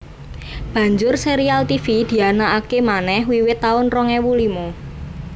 Banjur sérial Tivi dianakaké manèh wiwit taun rong ewu limo